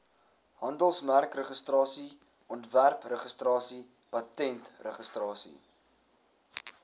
handelsmerkregistrasie ontwerpregistrasie patentregistrasie